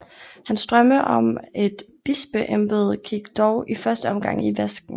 Hans drømme om et bispeembede gik dog i første omgang i vasken